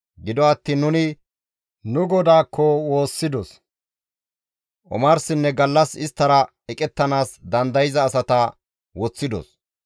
Gido attiin nuni nu Godaakko woossidos; omarsinne gallas isttara eqettanaas dandayza asata woththidos.